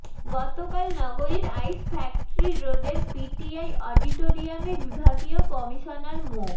গতকাল নগরীর ice factory রোডের পিটিআই অডিটরিয়ামে বিভাগীয় কমিশনার মো